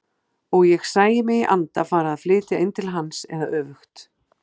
Og ég sæi mig í anda fara að flytja inn til hans eða öfugt.